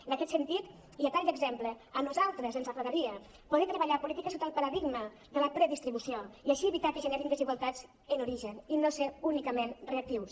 en aquest sentit i a tall d’exemple a nosaltres ens agradaria poder treballar polítiques sota el paradigma de la predistribució i així evitar que es generin desigualtats en origen i no ser únicament reactius